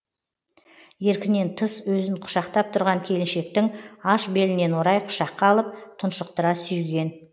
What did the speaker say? еркінен тыс өзін құшақтап тұрған келіншектің аш белінен орай құшаққа алып тұншықтыра сүйген